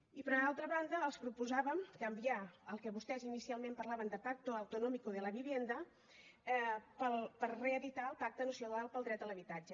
i per altra banda els proposàvem canviar el que vostès inicialment parlaven de pacto autonómico de la vivienda per reeditar el pacte nacional per a l’habitatge